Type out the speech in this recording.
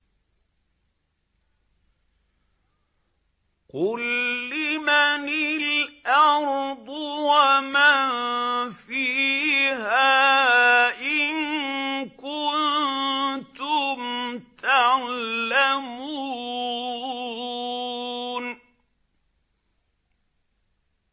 قُل لِّمَنِ الْأَرْضُ وَمَن فِيهَا إِن كُنتُمْ تَعْلَمُونَ